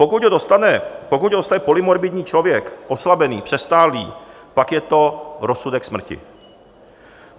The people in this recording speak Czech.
Pokud ho dostane polymorbidní člověk, oslabený, přestárlý, pak je to rozsudek smrti.